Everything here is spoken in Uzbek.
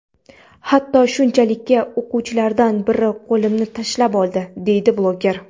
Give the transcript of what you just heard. Hatto shunchalikki o‘qituvchilardan biri qo‘limni tishlab oldi”, deydi bloger.